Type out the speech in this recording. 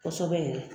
Kosɛbɛ yɛrɛ